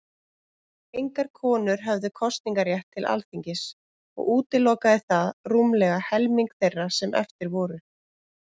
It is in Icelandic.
Engar konur höfðu kosningarétt til Alþingis, og útilokaði það rúmlega helming þeirra sem eftir voru.